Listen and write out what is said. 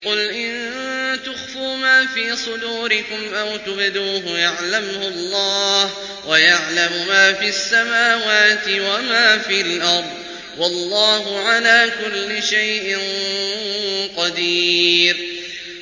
قُلْ إِن تُخْفُوا مَا فِي صُدُورِكُمْ أَوْ تُبْدُوهُ يَعْلَمْهُ اللَّهُ ۗ وَيَعْلَمُ مَا فِي السَّمَاوَاتِ وَمَا فِي الْأَرْضِ ۗ وَاللَّهُ عَلَىٰ كُلِّ شَيْءٍ قَدِيرٌ